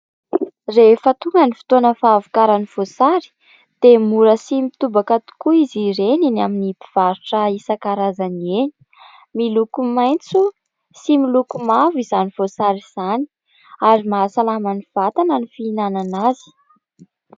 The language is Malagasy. Rehefa tonga ny fotoana fahavokaran'ny voasary dia mora sy mitobaka tokoa izy ireny eny amin'ny mpivarotra isan-karazany eny. Miloko maitso sy miloko mavo izany voasary izany ary mahasalama ny vatana ny fihinanana azy.